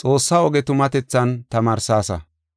Xoossa oge tumatethan tamaarsaasa.